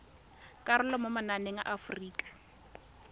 karolo mo mananeng a aforika